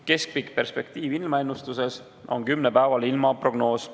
Keskpikk perspektiiv ilmaennustuses on kümnepäevane ilmaprognoos.